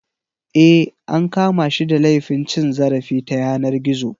Eh an kama shi da laifin cin zarafi ta yanar gizo.